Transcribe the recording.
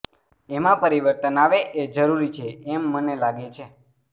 એમાં પરિવર્તન આવે એ જરૃરી છે એમ મને લાગે છે